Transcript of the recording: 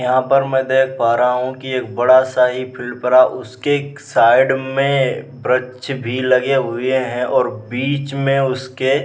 यहाँ पर मै देखा पा रहा हु की एक बड़ा सा ही फिल्ड परा उसके साइड में वृक्ष भी लगे हुए है और बिच में उसके --